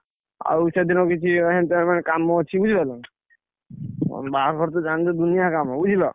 ଆଉ ସେଦିନ ବି କିଛି କାମ ଅଛି ବୁଝିଲନା? ବାହାଘର ତ ଜାଣିଛ ଦୁନିଆ କାମ ବୁଝିଲ?